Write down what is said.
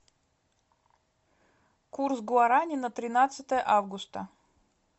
курс гуарани на тринадцатое августа